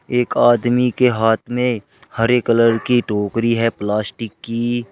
एक आदमी के हाथ में हरे कलर की टोकरी है प्लास्टिक की।